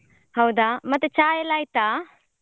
ಹೌದಾ. ಮತ್ತೆ ಚಾಯೆಲ್ಲ ಆಯ್ತಾ?